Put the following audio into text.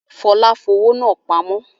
Fọlá fowó náà pamọ́?